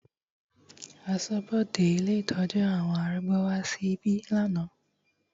Aṣọ́bodè ilé ìtọ́jú àwọn arúgbó wá sí ibí lánàá.